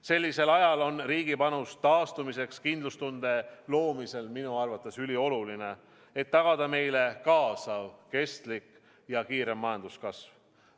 Sellisel ajal on riigi panus taastumiseks kindlustunde loomisel minu arvates ülioluline, et tagada meile kaasav, kestlik ja kiire majanduskasv.